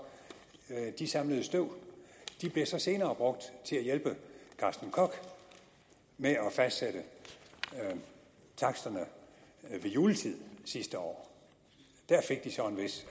de samlede støv de blev så senere brugt til at hjælpe carsten koch med at fastsætte taksterne ved juletid sidste år der fik de så en vis